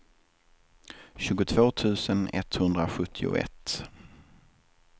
tjugotvå tusen etthundrasjuttioett